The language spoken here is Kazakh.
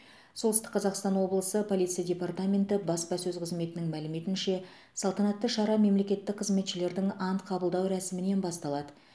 солтүстік қазақстан облысы полиция департаменті баспасөз қызметінің мәліметінше салтанатты шара мемлекеттік қызметшілердің ант қабылдау рәсімінен басталады